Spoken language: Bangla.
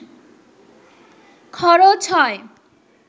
খরচ হয়